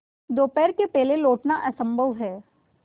दोपहर के पहले लौटना असंभव है